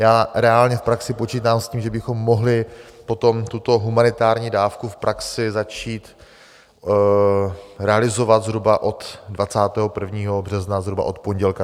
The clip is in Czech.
Já reálně v praxi počítám s tím, že bychom mohli potom tuto humanitární dávku v praxi začít realizovat zhruba od 21. března, zhruba od pondělka.